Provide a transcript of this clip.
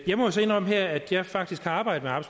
må så indrømme her at jeg faktisk har arbejdet